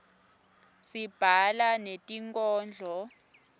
sibhala netinkhondlo